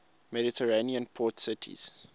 mediterranean port cities